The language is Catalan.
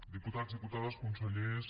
diputats diputades consellers